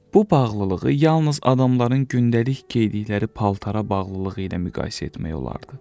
Bu bağlılığı yalnız adamların gündəlik geydikləri paltara bağlılığı ilə müqayisə etmək olardı.